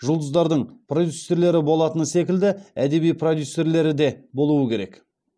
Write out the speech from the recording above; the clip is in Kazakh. жұлдыздардың продюссерлері болатыны секілді әдеби продюсерлері де болуы керек